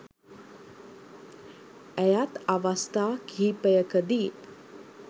ඇයත් අවස්ථා කිහිපයකදී